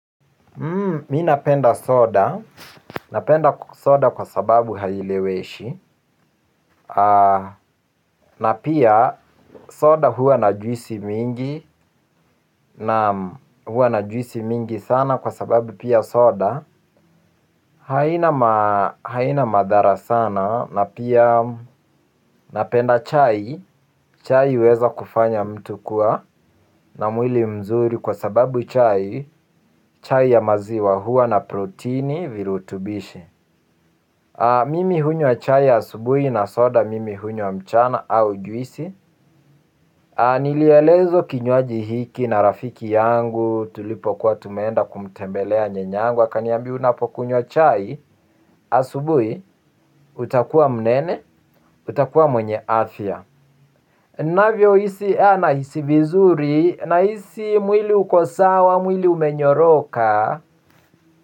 Mimi napenda soda, napenda soda kwa sababu haileweshi. Na pia soda huwa na juisi mingi, na huwa na juisi mingi sana kwa sababu pia soda. Haina madhara sana, na pia napenda chai. Chai uweza kufanya mtu kuwa na mwili mzuri kwa sababu chai chai ya maziwa huwa na protini virutubishi. Mimi hunywa chai asubuhi na soda mimi hunywa mchana au juisi. Nilielezwa kinywaji hiki na rafiki yangu tulipokuwa tumeenda kumtembelea nyanya wangu. Akaniambia unapokunywa chai asubuhi utakuwa mnene utakuwa mwenye afya. Navyo hisi? Nahisi vizuri nahisi mwili uko sawa mwili umenyoroka.